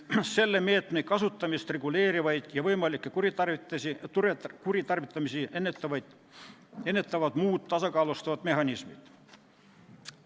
Selle meetme kasutamist reguleerivad ja võimalikke kuritarvitamisi ennetavad muud tasakaalustavad mehhanismid.